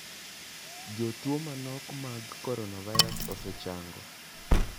Jotuo manok mag coronavirus osechango.